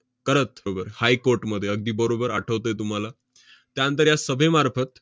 करत high court मध्ये अगदी बरोबर आठवतंय तुम्हाला. त्यानंतर या सभेमार्फत